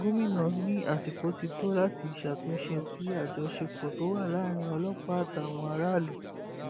gomina ní àsìkò ti tó láti ṣàtúnṣe sí àjọṣepọ tó wà láàrin ọlọpàá àtàwọn aráàlú